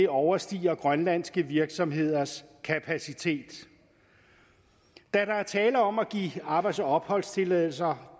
overstiger grønlandske virksomheders kapacitet da der er tale om at give arbejds og opholdstilladelser